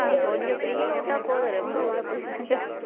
கொஞ்சம் free னு விட்டா போதும் ரொம்ப உள்ள போயிடுவாங்க